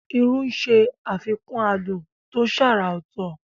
Irú ń ṣe àfikún adùn tó ṣàrà ọ̀tọ̀.